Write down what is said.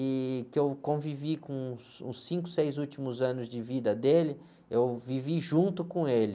e que eu convivi com os, os cinco, seis últimos anos de vida dele, eu vivi junto com ele.